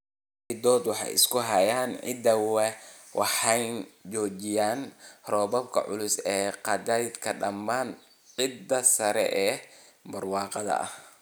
Xiddiddoodu waxay isku hayaan ciidda waxayna joojiyaan roobka culus ee qaadaya dhammaan ciidda sare ee barwaaqada ah.